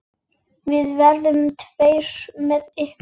Við verðum tveir með ykkur.